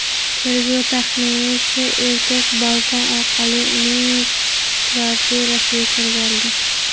Tergov taxminicha, erkak balkon orqali uning kvartirasiga kirib borgan.